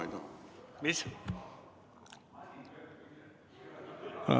Mis?